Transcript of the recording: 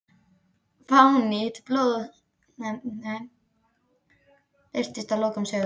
Fánýti blóðhefndarinnar birtist í lokum sögunnar.